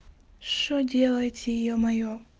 что делаете ё-моё